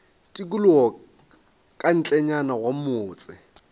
tikologo ka ntlenyana ga motse